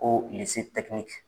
,